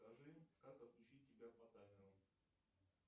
скажи как отключить тебя по таймеру